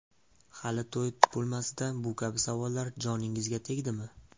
Hali to‘y bo‘lmasidan bu kabi savollar joningizga tegdimi?